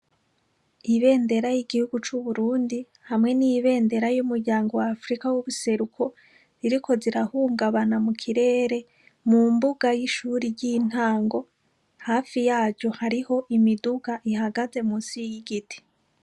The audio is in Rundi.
Ibendera y'igihugu c'uburundi hamwe n'ibendera y'umuryango w'afrika yubuseruko, ziriko zirahungamana mu kirere mu mbuga y'ishure ry'intango, hafi yaryo hariho imiduga ihagaze munsi y'igiti.